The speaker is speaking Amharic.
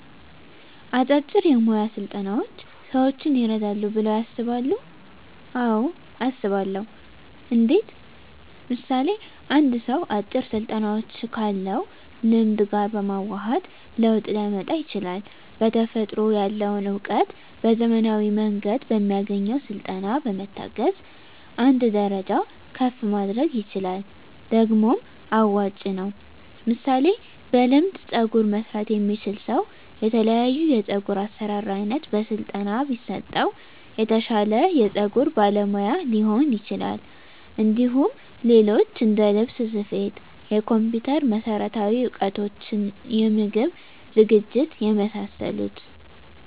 አጫጭር የሞያ ስልጠናዎች ሰዎችን ይረዳሉ ብለው ያስባሉ አዎ አስባለሁ እንዴት ምሳሌ አንድ ሰው አጭር ስልጠናዎችን ካለው ልምድ ጋር በማዋሀድ ለውጥ ሊያመጣ ይችላል በተፈጥሮ ያለውን እውቀት በዘመናዊ መንገድ በሚያገኘው ስልጠና በመታገዝ አንድ ደረጃ ከፍ ማድረግ ይችላል ደግሞም አዋጭ ነው ምሳሌ በልምድ ፀጉር መስራት የሚችል ሰው የተለያዮ የፀጉር አሰራር አይነት በስለጠና ቢሰጠው የተሻለ የፀጉር ባለሙያ ሊሆን ይችላል እንዲሁም ሌሎች እንደልብስ ስፌት የኮምፒተር መሠረታዊ እውቀቶች የምግብ ዝግጅት የመሳሰሉት